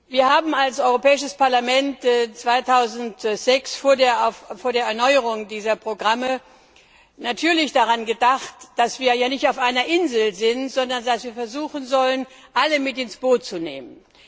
Wir haben als Europäisches Parlament 2006 vor der Erneuerung dieser Programme natürlich daran gedacht, dass wir nicht auf einer Insel leben, sondern dass wir versuchen sollen, alle mit ins Boot zu nehmen.